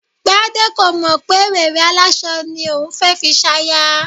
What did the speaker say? Gbadé kò mọ̀ pé wèrè aláṣọ ni òun fẹ́ fi ṣe aya